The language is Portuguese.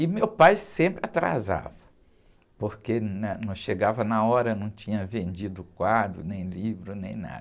E meu pai sempre atrasava, porque né? Não chegava na hora, não tinha vendido quadro, nem livro, nem nada.